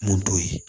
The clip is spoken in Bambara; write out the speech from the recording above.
Mun t'o ye